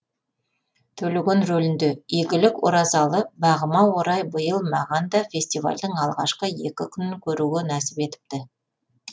төлеген рөлінде игілік оразалы бағыма орай биыл маған да фестивальдің алғашқы екі күнін көруге нәсіп етіпті